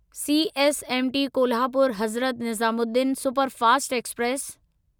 CSMT Kolhapur Hazrat Nizamuddin superfast express